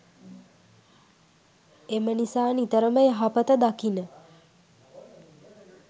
එම නිසා නිතරම යහපත දකින,